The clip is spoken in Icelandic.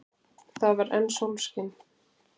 Það var enn sólskin.